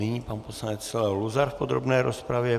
Nyní pan poslanec Leo Luzar v podrobné rozpravě.